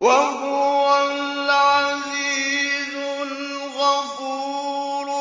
وَهُوَ الْعَزِيزُ الْغَفُورُ